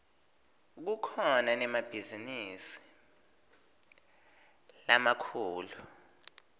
kukhona nemabhizinisi lamakhulu